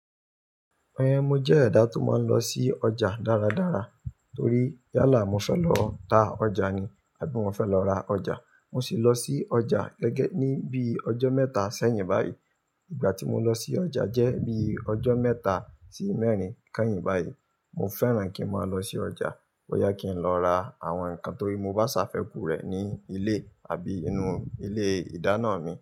Mo jẹ́ ẹ̀dá tó máa ń lọ sí ọjà dára dára torí yálà mo fẹ́ lọ ta ọjà ni àbí mo fẹ́ lọ ra ọjà. Mo sì lọ sí ọjà gẹ́gẹ́ ní bí ọjọ́ mẹ́ta sẹ́yìn báyìí. Ìgbà tí mo lọ sí ọjà jẹ́ bí ọjọ́ mẹ́ta sí mẹ́rin kẹ́yìn báyìí. Mo fẹ́ràn kí n máa lọ sí ọjà bóyá kí n lọ ra àwọn nǹkan torí mo bá ṣàfẹ́kù rẹ̀ ní ilé àbí inú ilé ìdáná mi.